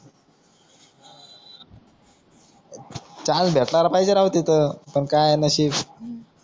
chance भेटलाला पाहिजे राव तिथं पण काय नशीब